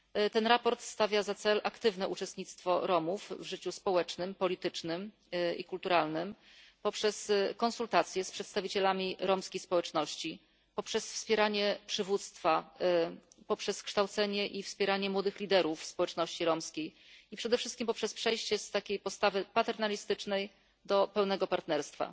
To sprawozdanie stawia za cel aktywne uczestnictwo Romów w życiu społecznym, politycznym i kulturalnym poprzez konsultacje z przedstawicielami romskiej społeczności, wspieranie przywództwa, kształcenie i wspieranie młodych liderów społeczności romskiej, a przede wszystkim przejście z postawy paternalistycznej do pełnego partnerstwa.